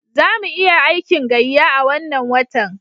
Za mu iya aikin gayya a wannan watan.